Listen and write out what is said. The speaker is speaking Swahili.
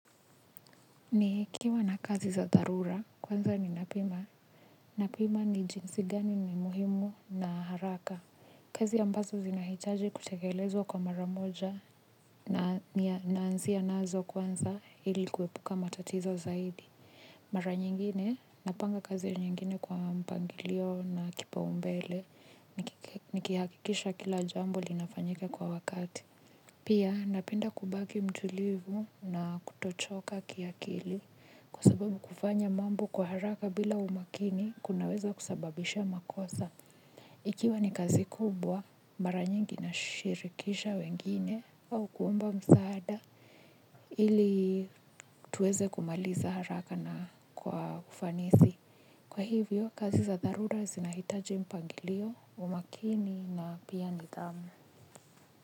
Ni kiwa na kazi za darura kwanza ni napima, napima ni jinsi gani ni muhimu na haraka, kazi ambazo zinahitaji kutekelezwa kwa mara moja naansia nazo kwanza hili kuwepuka matatizo zaidi. Mara nyingine napanga kazi nyingine kwa mpangilio na kipa umbele nikihakikisha kila jambo linafanyika kwa wakati. Pia napenda kubagi mtulivu na kutochoka kiakili. Kwa sababu kufanya mambo kwa haraka bila umakini kunaweza kusababisha makosa. Ikiwa ni kazi kubwa mara nyingi nashirikisha wengine au kuwomba msaada. Hili tuweze kumaliza haraka na kwa kufanisi. Kwa hivyo kazi za darura zinahitaji mpangilio umakini na pia nidhamu.